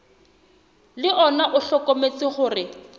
le ona o hlokometse hore